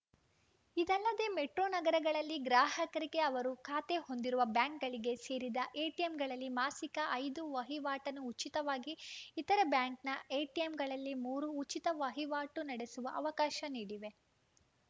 ಇದಲ್ಲದೆ ಮೆಟ್ರೋ ನಗರಗಳಲ್ಲಿ ಗ್ರಾಹಕರಿಗೆ ಅವರು ಖಾತೆ ಹೊಂದಿರುವ ಬ್ಯಾಂಕ್‌ಗಳಿಗೆ ಸೇರಿದ ಎಟಿಎಂಗಳಲ್ಲಿ ಮಾಸಿಕ ಐದು ವಹಿವಾಟನ್ನು ಉಚಿತವಾಗಿ ಇತರೆ ಬ್ಯಾಂಕ್‌ನ ಎಟಿಎಂಗಳಲ್ಲಿ ಮೂರು ಉಚಿತ ವಹಿವಾಟು ನಡೆಸುವ ಅವಕಾಶ ನೀಡಿವೆ